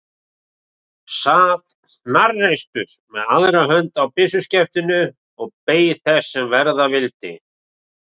Sat hnarreistur með aðra hönd á byssuskeftinu og beið þess sem verða vildi.